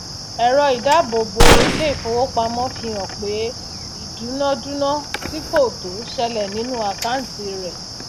èro ìdábòbo ilé ìfowópamó fi hàn pé ìdúnà dúnà tí kò tò selè nínú àkàntì rè